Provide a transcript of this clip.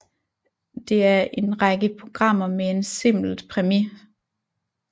Det er en række programmer med en simpelt premis